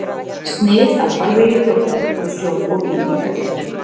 Snið af farvegi Þjórsár frá sjó og inn í Þjórsárver.